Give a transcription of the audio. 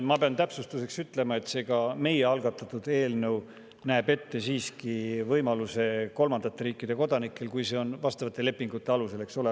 Ma pean täpsustuseks ütlema, et ka meie algatatud eelnõu näeb siiski kolmandate riikide kodanikele ette võimaluse, kui see on vastavate lepingute alusel, eks ole.